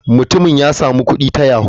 Mutumin ya samu kudi ta yahoo.